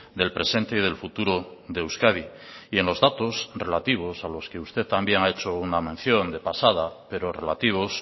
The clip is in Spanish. del presente y del futuro de euskadi y en los datos relativos a los que usted también ha hecho una mención de pasada pero relativos